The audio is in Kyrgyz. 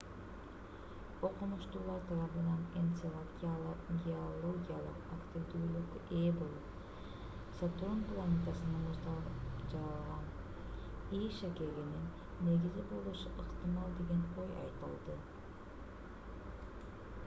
окумуштуулар тарабынан энцелад геологиялык активдүүлүккө ээ болуп сатурн планетасынын муздан жаралган е шакегинин негизи болушу ыктымал деген ой айтылды